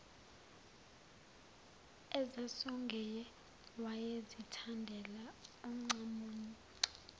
ezasongoye wayezithandela oncamunce